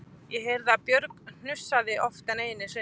Ég heyrði að Björg hnussaði oftar en einu sinni